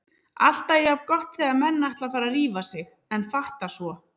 Alltaf jafn gott þegar menn ætla að fara að rífa sig en fatta svo